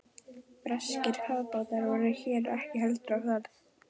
Breskir kafbátar voru hér ekki heldur á ferð.